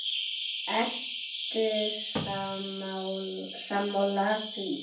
Ertu sammála því?